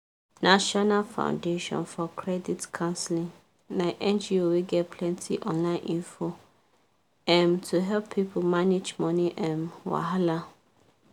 national foundation for credit counseling na ngo wey get plenty online info um to help people manage money um wahala